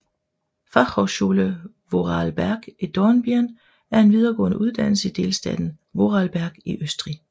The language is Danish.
Fachhochschule Vorarlberg i Dornbirn er en videregående uddannelse i delstaten Vorarlberg i Østrig